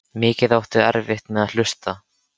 Mikið áttu erfitt með að hlusta.